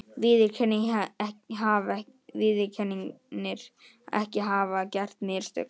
Viðurkennir ekki að hafa gert mistök